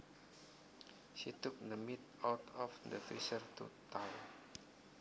She took the meat out of the freezer to thaw